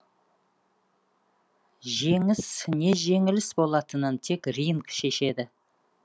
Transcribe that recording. жеңіс не жеңіліс болатынын тек ринг шешеді